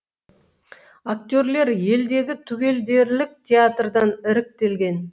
актерлер елдегі түгелдерлік театрдан іріктелген